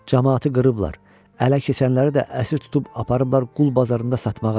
Camaatı qırıblar, ələ keçənləri də əsir tutub aparıblar qul bazarında satmağa.